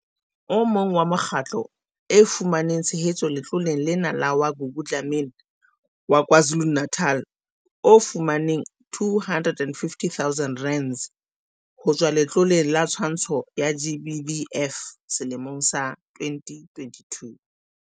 O mong wa mekgatlo e fumaneng tshehetso letloleng lena ke wa Gugu Dlamini wa KwaZulu-Natal o fumaneng R250 000 ho tswa Letloleng la Twantsho ya GBVF selemong sa 2022.